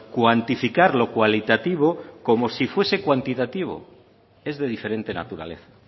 cuantificar lo cualitativo como si fuese cuantitativo es de diferente naturaleza